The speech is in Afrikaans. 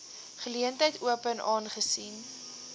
geleentheid open aangesien